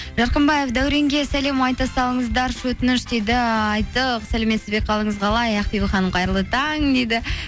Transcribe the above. жарқымбаев дәуренге сәлем айта салыңыздаршы өтініш дейді айттық сәлеметсіз бе қалыңыз қалай ақбибі ханым қайырлы таң дейді